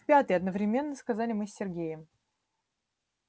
в пятый одновременно сказали мы с сергеем